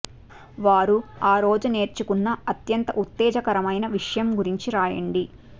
వారు ఆ రోజు నేర్చుకున్న అత్యంత ఉత్తేజకరమైన విషయం గురించి రాయండి